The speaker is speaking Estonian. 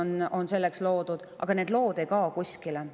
Aga need ei kao kuskile.